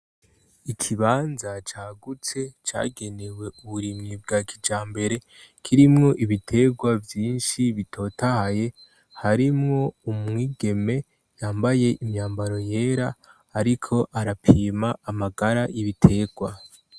Ikibanza cagutse cagenewe uburimyi bwa kijambere kirimwo ibitegwa vyinshi bitotahaye harimwo umwigeme yambaye imyambaro yera ariko arapima amagara y'ibitegwa.